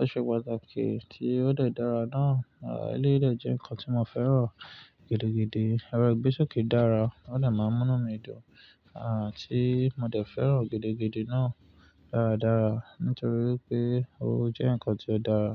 ó ṣe pàtàkì tí ó de dàra náà, à eleyii de jẹ́ ǹkan tí mo fẹ́ràn gidigidi. Ẹran Ìgbésókè dára, ó dè máa n mú mí dùn à ti mo dẹ̀ fẹ́ràn gidigidi náà dáradára nítorí pé ó jẹ́ ǹkan tí ó dára.